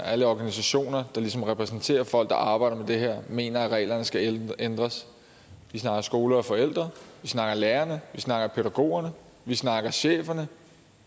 alle organisationer der ligesom repræsenterer folk der arbejder med det her mener at reglerne skal ændres vi snakker skole og forældre vi snakker lærerne vi snakker pædagogerne vi snakker cheferne